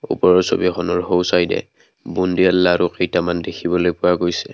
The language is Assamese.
ওপৰৰ ছবিখনৰ সোঁ চাইদে বোনদিয়া লাৰু কেইটামান দেখিবলৈ পোৱা গৈছে।